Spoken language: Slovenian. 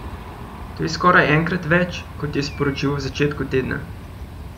To je skoraj enkrat več, kot je sporočil v začetku tedna.